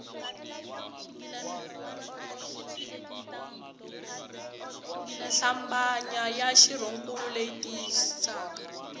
hlambanya ya xirhonkulu leyi tiyisisaka